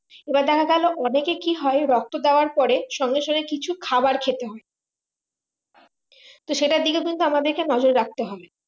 এবার দেখা গেলো অনেকে কি হয় রক্ত দেওয়ার পরে সঙ্গে সঙ্গে কিছু খাবার খেতে হয় তো সেটার দিকে আমাদেরকে নজর রাখতে হবে